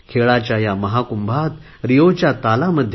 खेळाच्या या महाकुंभात रिओच्या तालामध्ये